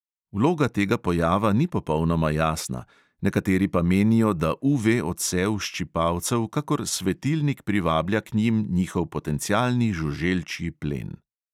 Vloga tega pojava ni popolnoma jasna, nekateri pa menijo, da UV odsev ščipalcev kakor svetilnik privablja k njim njihov potencialni žuželčji plen.